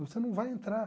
Você não vai entrar.